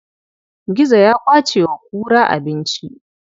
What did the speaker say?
Gizo ya ƙwace wa kura abinci.